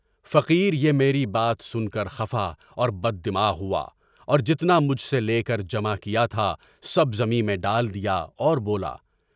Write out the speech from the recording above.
فقیر یہ میری بات سن کر خفا اور بددماغ ہوا اور جتنا مجھ سے لے کر جمع کیا تھا سب زمین میں ڈال دیا اور بولا۔